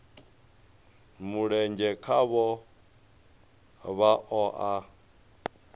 mulenzhe khaho vha o a